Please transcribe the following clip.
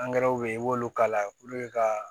bɛ yen i b'olu kala ka